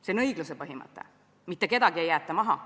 See on õigluse põhimõte: mitte kedagi ei jäeta maha.